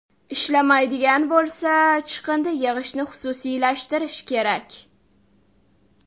Ishlamaydigan bo‘lsa, chiqindi yig‘ishni xususiylashtirish kerak.